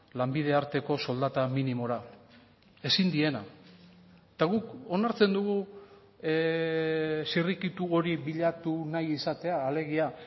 lanbide arteko soldata minimora ezin diena eta guk onartzen dugu zirrikitu hori bilatu nahi izatea alegia